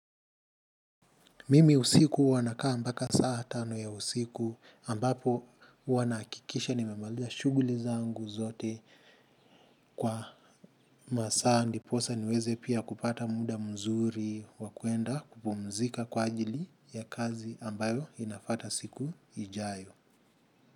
Mimi usiku huwa nakaa mbaka saa tano ya usiku ambapo huwa nahakikisha nimemaliza shuguli zangu zote kwa masaa ndiposa niweze pia kupata muda mzuri wa kuenda kupumzika kwa ajili ya kazi ambayo inafata siku ijayo.